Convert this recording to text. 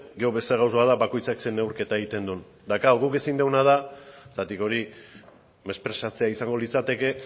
gero beste gauza da bakoitzak zer neurketan egiten du eta klaro guk ezin duguna da zergatik hori mesprezatzea izango litzateke